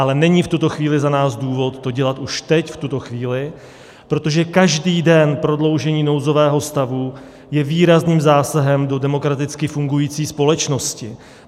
Ale není v tuto chvíli za nás důvod to dělat už teď, v tuto chvíli, protože každý den prodloužení nouzového stavu je výrazným zásahem do demokraticky fungující společnosti.